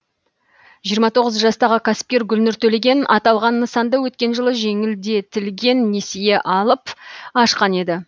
жиырма тоғыз жастағы кәсіпкер гүлнұр төлеген аталған нысанды өткен жылы жеңілдетілген несие алып ашқан еді